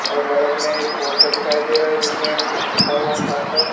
और बगल में एक पोस्टर दिखाई दे रहा है जिसमें कुछ लिखा हुआ था साफ साफ--